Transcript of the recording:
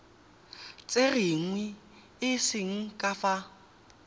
tserweng e se ka fa